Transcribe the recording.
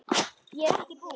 Ég er ekki búinn.